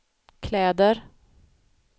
kläder